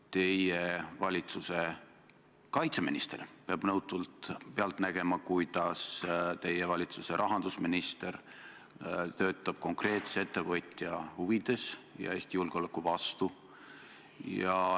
Teie valitsuse kaitseminister peab nõutult pealt nägema, kuidas teie valitsuse rahandusminister töötab konkreetse ettevõtja huvides ja Eesti julgeoleku vastu.